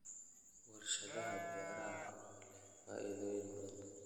Warshadaha beeraha oo leh faa'iidooyin badan.